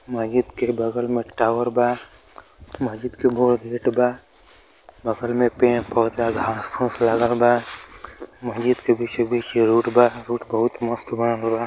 मस्जिद के बगल में टावर बा। मस्जिद के गेट बा बगल में पेड़ पौधा घांस फूस लागल बा। मस्जिद के बीचो बीच रोड बा। रोड बहुत मस्त बनल बा।